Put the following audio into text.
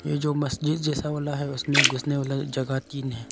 ये जो मस्जिद जैसा वाला है उसमें घुसने वाला जगह तीन है।